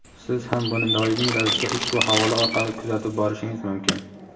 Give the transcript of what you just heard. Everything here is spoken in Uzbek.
Siz ham buni doimiy ravishda ushbu havola orqali kuzatib borishingiz mumkin.